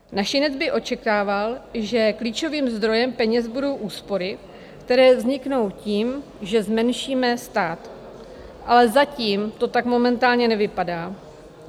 Našinec by očekával, že klíčovým zdrojem peněz budou úspory, které vzniknou tím, že zmenšíme stát, ale zatím to tak momentálně nevypadá.